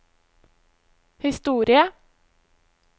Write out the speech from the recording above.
historie